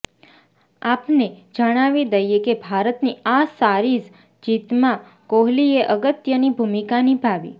આપને જણાવી દઇએ કે ભારતની આ સારીઝ જીતમાં કોહલીએ અગત્યની ભૂમિકા નિભાવી